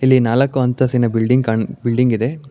ಇಲ್ಲಿ ನಾಲ್ಕು ಅಂತಸ್ತಿದ ಬಿಲ್ಡಿಂಗ್ ಕಾಣು ಬಿಲ್ಡಿಂಗ್ ಇದೆ.